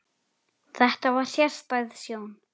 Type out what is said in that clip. Þetta var sérstæð sjón.